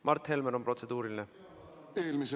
Mart Helmel on protseduuriline küsimus.